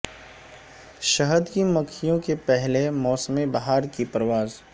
شہد کی مکھیوں کے پہلے موسم بہار کی پرواز